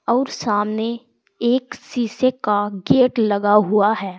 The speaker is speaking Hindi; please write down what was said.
और सामने एक शीशे का गेट लगा हुआ है।